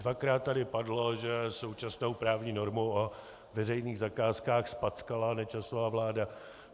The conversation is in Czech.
Dvakrát tady padlo, že současnou právní normu o veřejných zakázkách zpackala Nečasova vláda.